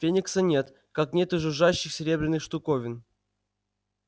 феникса нет как нет и жужжащих серебряных штуковин